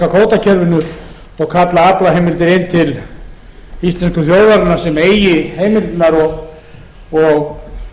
kvótakerfinu og kalla aflaheimildir heim til íslensku þjóðarinnar sem eigi heimildirnar og